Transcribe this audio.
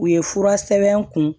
U ye fura sɛbɛn kun